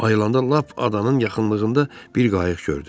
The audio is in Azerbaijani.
Ayılanda lap adanın yaxınlığında bir qayıq gördü.